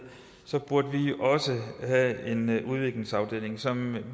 burde vi også have en udviklingsafdeling som